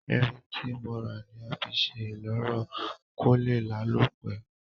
Irin tí mo rà ni a fi sé ìloro ko lé lálò pe